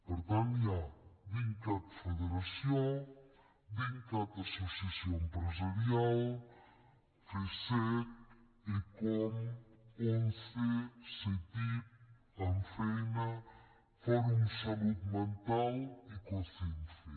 per tant hi ha dincat federació dincat associació empresarial fcec ecom once ctic ammfeina fòrum salut mental i cocemfe